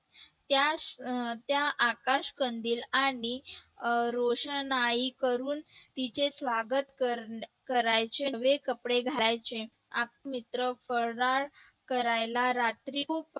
त्या त्या आकाश कंदील आणि रोषणाई करून तुझे स्वागत करण्याचे नवे कपडे घालायचे आपले मित्र फराळ करायला रात्री खूप